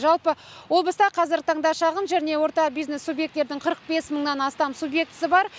жалпы облыста қазіргі таңда шағын және орта бизнес субъектілердің қырық бес мыңнан астам субъектісі бар